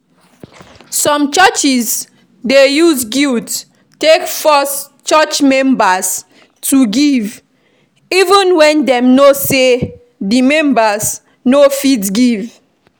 Some churches dey use guilt take force church members to give even when dem know sey di members no fit give